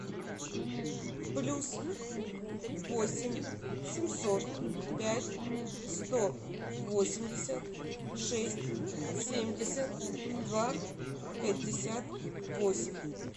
плюс восемь семьсот пять сто восемьдесят шесть семьдесят два пятьдесят восемь